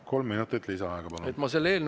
Kolm minutit lisaaega, palun!